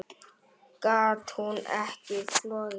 Gat hún ekki flogið?